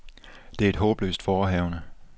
Det er et håbløst forehavende.